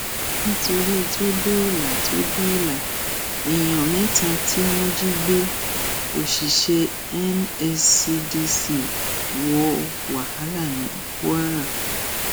nítorí tó dóòlà tó dóòlà èèyàn mẹta tí wọn jí gbé òṣìṣẹ nscdc wọ wàhálà ní kwara